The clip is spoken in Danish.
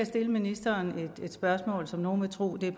stille ministeren et spørgsmål som nogle vil tro bliver